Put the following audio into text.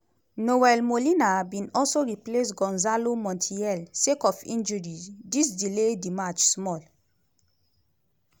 nahuel molina bin also replace gonzalo montiel sake of injury- dis delay di match small.